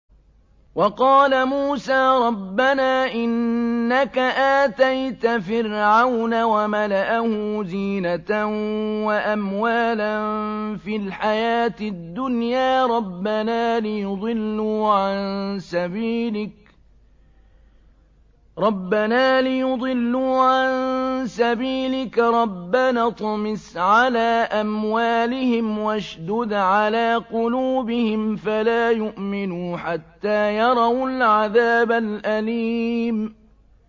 وَقَالَ مُوسَىٰ رَبَّنَا إِنَّكَ آتَيْتَ فِرْعَوْنَ وَمَلَأَهُ زِينَةً وَأَمْوَالًا فِي الْحَيَاةِ الدُّنْيَا رَبَّنَا لِيُضِلُّوا عَن سَبِيلِكَ ۖ رَبَّنَا اطْمِسْ عَلَىٰ أَمْوَالِهِمْ وَاشْدُدْ عَلَىٰ قُلُوبِهِمْ فَلَا يُؤْمِنُوا حَتَّىٰ يَرَوُا الْعَذَابَ الْأَلِيمَ